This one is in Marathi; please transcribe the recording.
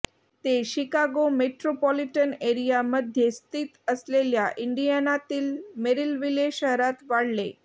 ते शिकागो मेट्रोपॉलिटन एरियामध्ये स्थित असलेल्या इंडियानातील मेरिलविले शहरात वाढले